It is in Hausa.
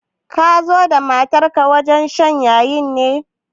Ka zo da matar wajen shan yayi ne?